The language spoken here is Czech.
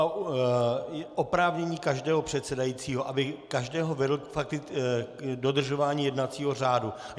Je oprávnění každého předsedajícího, aby každého vedl k dodržování jednacího řádu.